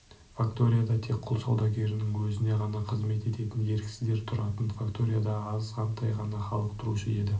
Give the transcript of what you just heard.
факторияда тек құл саудагерінің өзіне ғана қызмет ететін еріксіздер тұратын факторияда азғантай ғана халық тұрушы еді